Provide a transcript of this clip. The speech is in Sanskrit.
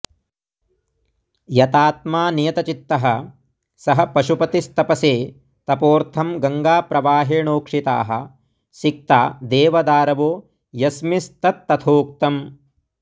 यतात्मा नियतचित्तः सः पशुपतिस्तपसे तपोर्थं गङ्गाप्रवाहेणोक्षिताः सिक्ता देवदारवो यस्मिंस्तत्तथोक्तम्